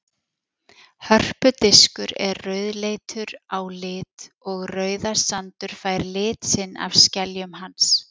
Hörpudiskur er rauðleitur á lit og Rauðasandur fær lit sinn af skeljum hans.